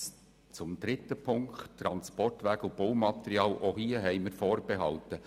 Zu Ziffer 3, Transportwege und Baumaterial: Auch hier haben wir Vorbehalte.